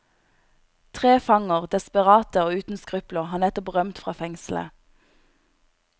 Tre fanger, desperate og uten skrupler, har nettopp rømt fra fengselet.